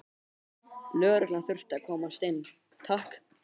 Lögreglan þurfti að komast inn, takk!